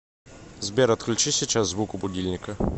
сбер отключи сейчас звук у будильника